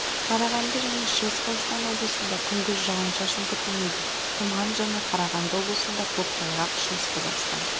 қарағанды және шығыс қазақстан облыстарында күндіз жауын шашын күтілмейді тұман және қарағанды облысында көктайғақ шығыс қазақстан